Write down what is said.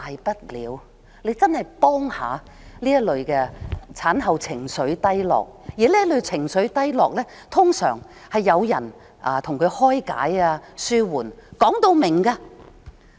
請你幫助這類產後情緒低落的人，這類情緒低落通常需要有人開解便能紓緩。